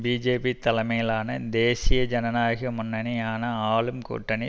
BJP தலைமையிலான தேசிய ஜனநாயக முன்னணியான ஆளும் கூட்டணி